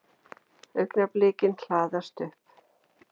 Augnablikin hlaðast upp.